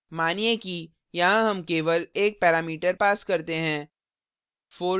मानिए कि यहाँ हम केवल एक parameter pass करते हैं